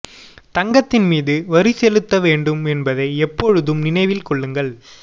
தங்கத்தின் மீது வரி செலுத்த வேண்டும் என்பதை எப்பொழுதும் நினைவில் கொள்ளுங்கள்